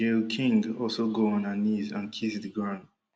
gayle king also go on her knees and kiss di ground